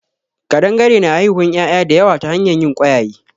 Ƙadangare na haihuwan ƴaƴa da yawa ta hanyar yin ƙwayaye